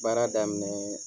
Baara daminɛ